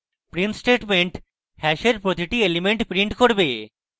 print statement hash প্রতিটি element print করবে